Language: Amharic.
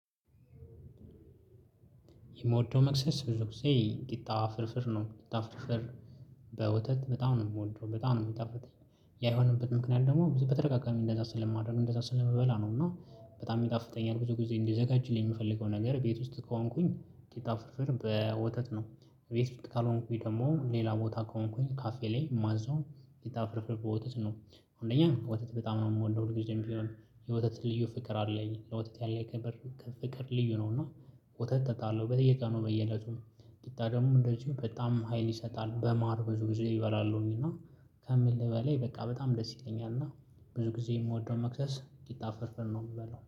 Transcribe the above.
የምወደው መቅሰስ ብዙ ቂጣ ፍርፍር ነው ቂጣ ፍርፍር በወተት በጣም ነው የምወደው በጣም ነው የሚጣፍጠኝ። ያየሆነበት ምክንያት ደግሞ በተረጋጋሚ እንደዛ ስለማድረግ እንደዛ ስለመበላ ነው። እና በጣም ይጣፍጠኛል ብዙ ጊዜ እንዲዘጋጅልኝ የምፈልገው ነገር ቤት ውስጥ ከሆንኩኝ ቂጣ ፍርፍር በወተት ነው። ቤት ውስጥ ካልሆንኩኝ ደግሞ ሌላ ቦታ ከሆንኩኝ ካፌ ላይ ማዘውንየተፈረፈረፈ ወተት ነው። አንደኛ ወተት በጣም ነው የምወደው ልጅም ቢሆን የወተት ልዩ ፍቅር አለኝ ለወተት ያለ ከብር ከፍቅር ልዩ ነው። እና ወተት እጣለሁ በየቀኑ በየእለቱም ቂጣ ደግሞ እንደዚሁ በጣም ሀይል ይሰጣል በማር ብዙ ጊዜ እበላለሁኝ። እና ቤት ውስጥ ካልሆንኩኝ ደግሞ ሌላ ቦታ ከሆንኩኝ ካፌ ላይ ማዘውን ቂጣ ፍርፍር በወተት ነው። አንደኛ ወተት በጣም ነው የምወደው ሁልጊዜም ቢሆን የወተት ልዩ ፍቅር አለኝ ለወተት ያለ ከብር ከፍቅር ልዩ ነውና